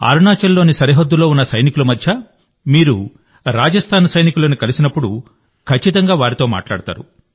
అరుణాచల్లోని సరిహద్దులో ఉన్న సైనికుల మధ్య మీరు రాజస్థాన్ సైనికులను కలిసినప్పుడు మీరు ఖచ్చితంగా వారితో మాట్లాడతారు